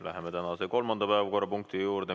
Läheme tänase kolmanda päevakorrapunkti juurde.